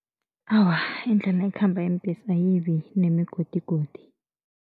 Awa, indlela ekhamba iimbhesi ayibi nemigodigodi.